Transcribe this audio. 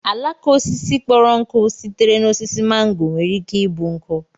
àlàká osisi kpọrọ nkụ sitere na osisi màngò nwere ike ịbụ nkụ